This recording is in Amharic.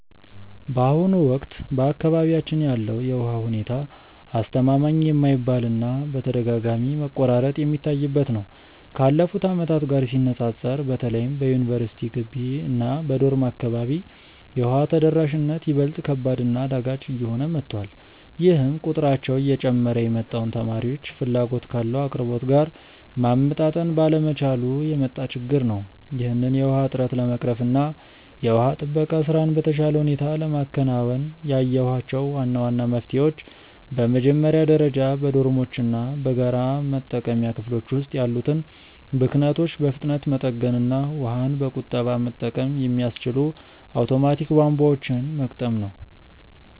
በአሁኑ ወቅት በአካባቢያችን ያለው የውሃ ሁኔታ አስተማማኝ የማይባል እና በተደጋጋሚ መቆራረጥ የሚታይበት ነው። ካለፉት ዓመታት ጋር ሲነፃፀር በተለይም በዩኒቨርሲቲ ግቢ እና በዶርም አካባቢ የውሃ ተደራሽነት ይበልጥ ከባድ እና አዳጋች እየሆነ መጥቷል፤ ይህም ቁጥራቸው እየጨመረ የመጣውን ተማሪዎች ፍላጎት ካለው አቅርቦት ጋር ማመጣጠን ባለመቻሉ የመጣ ችግር ነው። ይህንን የውሃ እጥረት ለመቅረፍ እና የውሃ ጥበቃ ስራን በተሻለ ሁኔታ ለማከናወን ያየኋቸው ዋና ዋና መፍትሄዎች በመጀመሪያ ደረጃ በዶርሞች እና በጋራ መጠቀሚያ ክፍሎች ውስጥ ያሉትን ብክነቶች በፍጥነት መጠገን እና ውሃን በቁጠባ መጠቀም የሚያስችሉ አውቶማቲክ ቧንቧዎችን መግጠም ነው።